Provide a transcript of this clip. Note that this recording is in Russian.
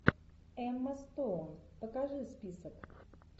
эмма стоун покажи список